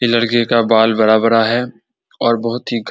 ये लड़के का बाल बड़ा-बड़ा है और बहुत ही घ --